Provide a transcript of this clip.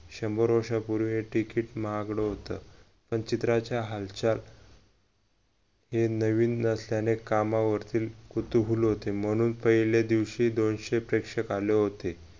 शंभर वर्षांपूर्वी हे तिकीट महागड होत पण चित्राच्या हालचाल हे नवीन नसल्याने कमावर्ती कुतुहूल होते म्हणून पहिल्या दिवशी दोनशे प्रेक्षक आले होते.